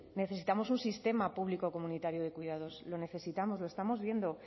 necesitamos un sistema público de cuidados lo necesitamos lo estamos viendo